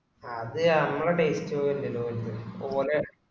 അത് ഞമ്മളെ taste പോലല്ലോ ഓലെ